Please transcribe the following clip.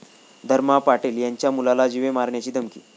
धर्मा पाटील यांच्या मुलाला जीवे मारण्याची धमकी